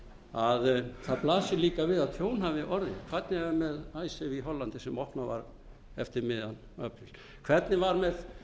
að það blasir líka við að tjón hafi orðið hvernig er með icesave í hollandi sem opnað var eftir miðjan apríl hvernig var með